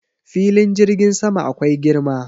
Filin jirgin sama akwai girma.